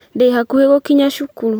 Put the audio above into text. Ndĩhakuhĩ gũkinya cukuru